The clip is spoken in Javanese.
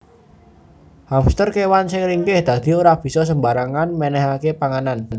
Hamster kewan sing ringkih dadi ora bisa sembarangan menehake panganan